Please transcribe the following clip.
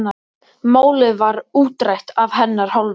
Málið var útrætt af hennar hálfu.